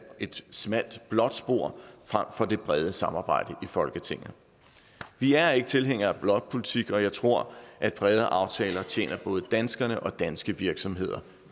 et smalt blåt spor frem for det brede samarbejde i folketinget vi er ikke tilhængere af blokpolitik og jeg tror at brede aftaler tjener både danskerne og danske virksomheder